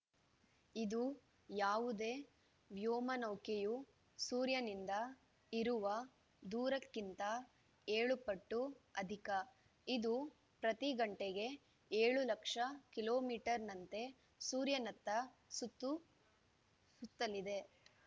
ಇದು ಯಾವುದೇ ವ್ಯೋಮನೌಕೆಯು ಸೂರ್ಯನಿಂದ ಇರುವ ದೂರಕ್ಕಿಂತ ಏಳು ಪಟ್ಟು ಅಧಿಕ ಇದು ಪ್ರತಿ ಗಂಟೆಗೆ ಏಳು ಲಕ್ಷ ಕಿಲೋ ಮೀಟರ್ ನಂತೆ ಸೂರ್ಯನತ್ತ ಸುತ್ತ ಸುತ್ತಲಿದೆ